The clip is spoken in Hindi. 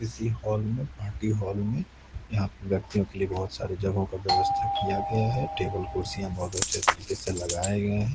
इसी हाल में पार्टी हॉल में यहां पे व्यक्तियों के लिए बहोत सारे जगहो का व्यवस्था किया गया है टेबल कुर्सियां बहोत अच्छे तरीके से लगाए गए हैं।